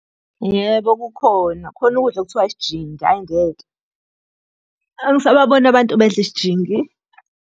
Yebo, kukhona. Khona ukudla ekuthiwa isijingi, hhayi ngeke, angisababoni abantu bedla isijingi.